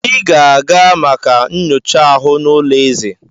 Ị ga-aga maka nyocha aha n'ụlọ eze!